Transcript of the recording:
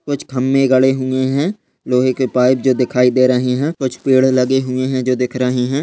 कुछ खंभे गड़े हुए है लोहे के पाइप जो दिखाई दे रहे है कुछ पेड़ लगे हुए है जो दिख रहे है।